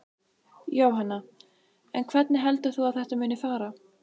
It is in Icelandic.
Jóhanna: En hvernig heldur þú að þetta muni fara?